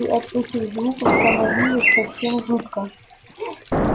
и от этих звуков становилось совсем жутко